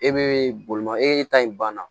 E be bolima e ta in banna